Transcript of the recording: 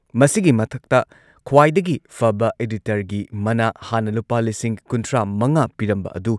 ꯃꯁꯤꯒꯤ ꯃꯊꯛꯇ ꯈ꯭ꯋꯥꯏꯗꯒꯤ ꯐꯕ ꯏꯗꯤꯇꯔꯒꯤ ꯃꯅꯥ ꯍꯥꯟꯅ ꯂꯨꯄꯥ ꯂꯤꯁꯤꯡ ꯀꯨꯟꯊ꯭ꯔꯥꯃꯉꯥ ꯄꯤꯔꯝꯕ ꯑꯗꯨ